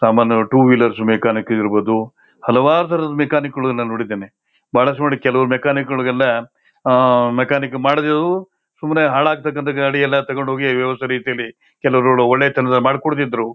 ಸಾಮಾನ್ಯ two wheelers mechanic ಇರಬಹುದು ಹಲವಾರ ತರದ ಮೆಕ್ಯಾನಿಕ್ಗಳನ್ನ ನೋಡಿದ್ದೇನೆ ಬಹುಳಸ್ತುಮಟ್ಟಿಗೆ ಕೆಲವು ಮೆಕ್ಯಾನಿಕ್ಗಳಿಗೆಲ್ಲಾ ಆಹ್ ಮೆಕ್ಯಾನಿಕ್ ಮಾಡದಿರೋರು ಸುಮ್ಮನೆ ಹಾಳತಕ್ಕಾನಂತಹ ಗಾಡಿಯಲ್ಲಾ ತಕೊಂಡ ಹೋಗಿ ವ್ಯವಸ್ಥೆ ರೀತಿಯಲ್ಲಿ ಕೆಲವರು ಒಳ್ಳೆತನದ ಮಾಡಕೊಡತ್ತಿದ್ರು.